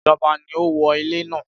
Ìjọba ni ó wó ilé náà.